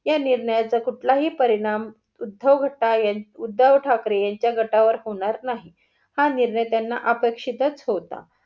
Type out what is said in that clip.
या निर्णयाचा कुठलाही परिणाम उद्धव घट्ट एन उद्धव ठाकरे यांच्या गटावर होणार नाही. हा निर्णय त्यांना आपेक्षित च होता.